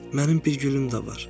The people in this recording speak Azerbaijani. Mənim bir gülüm də var.